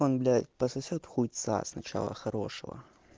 он блять пососёт хуйца сначала хорошего